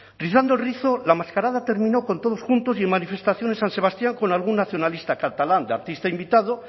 rizando el rizo la mascarada terminó con todos juntos y en manifestación en san sebastián con algún nacionalista catalán de artista invitado